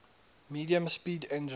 medium speed engines